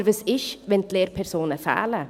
Aber was ist, wenn die Lehrpersonen fehlen?